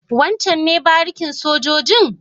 Wancen ne barikin sojojin?